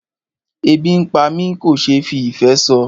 Ebi ń pá mi kò ṣe fí ìfé sọ.